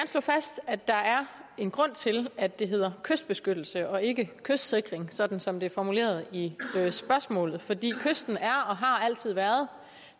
slå fast at der er en grund til at det hedder kystbeskyttelse og ikke kystsikring sådan som det er formuleret i spørgsmålet fordi kysten er og har altid været